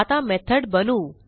आता मेथड बनवू